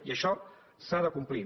i això s’ha de complir